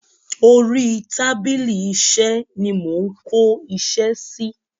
Orí tábìlì iṣẹ́ ni mo ń kó iṣẹ́ sí.